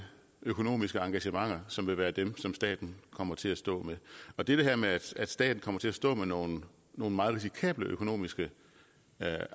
økonomiske engagementer som vil være dem som staten kommer til at stå med og det her med at staten kommer til at stå med nogle meget risikable økonomiske